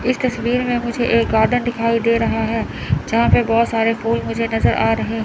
इस तस्वीर में मुझे एक गार्डन दिखाई दे रहा है जहां पे बहोत सारे फूल मुझे नजर आ रहे--